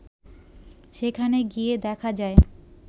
সেখানে গিয়ে দেখা যায়